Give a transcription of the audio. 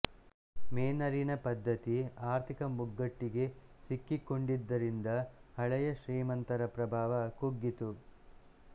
ಮೇನರಿನ ಪದ್ಧತಿ ಆರ್ಥಿಕ ಮುಗ್ಗಟ್ಟಿಗೆ ಸಿಕ್ಕಿಕೊಂಡಿದ್ದರಿಂದ ಹಳೆಯ ಶ್ರೀಮಂತರ ಪ್ರಭಾವ ಕುಗ್ಗಿತು